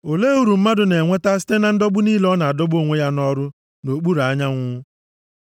Olee uru mmadụ na-enweta site na ndọgbu niile ọ na-adọgbu onwe ya nʼọrụ nʼokpuru anyanwụ?